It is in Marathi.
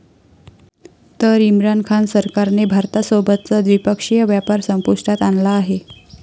तर इम्रान खान सरकारने भारतासोबतचा द्विपक्षीय व्यापार संपुष्टात आणला आहे.